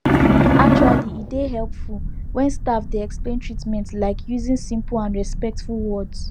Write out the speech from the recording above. actually e dey hepful wen staf dey explain treatment like using simple and respectful words